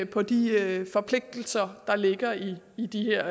på de forpligtelser der ligger i i det her